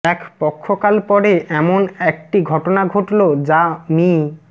এক পক্ষ কাল পরে এমন একট ঘটনা ঘটলো যা মি